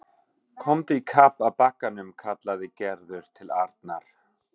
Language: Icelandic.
Komdu í kapp að bakkanum kallaði Gerður til Arnar.